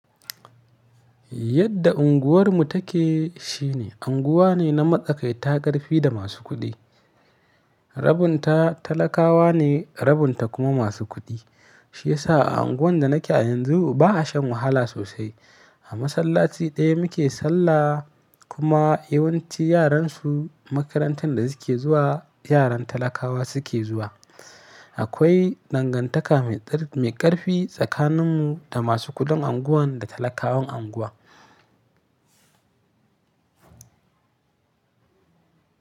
Yadda unguwarmu take shine unguwa ne na matsakaita ƙarfi da masu kuɗi. Rabinta talakawa ne rabinta kuma masu kuɗi. Shi yasa a unguwan da nake a yanzu ba a shan wahala sosai. A masallaci ɗaya muke sallah, kuma yawanci yaran su makarantar da suke zuwa yaran talakawa suke zuwa. Akwai dangantaka mai ƙarfi tsakanin mu da masu kuɗin unguwan da talakawan unguwa.